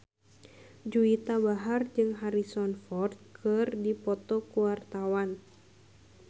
Juwita Bahar jeung Harrison Ford keur dipoto ku wartawan